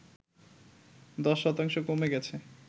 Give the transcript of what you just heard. ১০ শতাংশ কমে গেছে